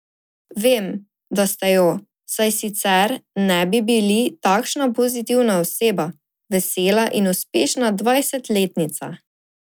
Vem, da ste jo, saj sicer ne bi bili takšna pozitivna oseba, vesela in uspešna dvajsetletnica.